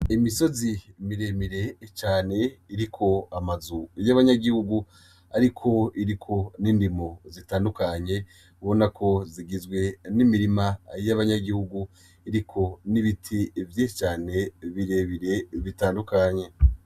Imisozi miremire cane iriko amazu y' abanyagihugu, ariko iriko n'indimo zitandukanye ubona ko zigizwe n' imirima y' abanyagihugu iriko n' ibiti vyinshi cane birebire bitandukanye.